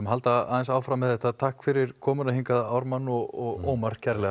halda aðeins áfram með þetta takk fyrir komuna hingað Ármann og Ómar